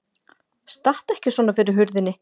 Stattu ekki svona fyrir hurðinni!